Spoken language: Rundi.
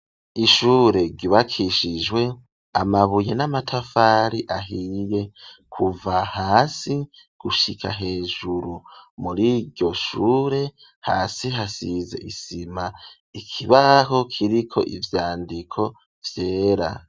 Ishure ryubakishijwe amabuye n'amatafari ahiye kuva hasi gushika hejuru, muri iryo shure hasi hasize isima, ikibaho kiriko ivyandiko vyera.